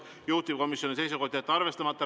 Juhtivkomisjoni seisukoht on jätta see arvestamata.